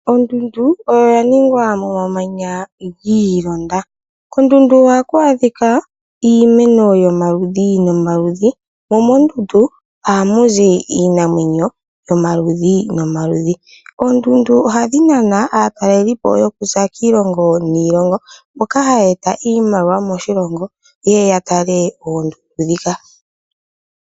Ondundu oyo ya ningwa mo mamanya gilonda .Kondundu ohaku adhika iimeno yomaludhi no maludhi. Mo mondundu oha muzi iinamwenyo yomaludhi no maludhi. Oondundu ohadhi nana aatalelipo yo kuza kilongo nilongo mboka ha yeta iimaliwa moshilongo ye yatale oondundu ndhika.